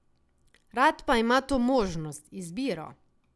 Rad pa ima to možnost, izbiro.